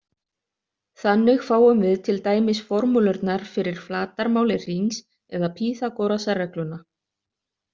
Þannig fáum við til dæmis formúlurnar fyrir flatarmáli hrings eða Pýþagorasarregluna.